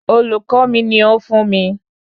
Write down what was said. Olùkọ́ mi ni ó fún mi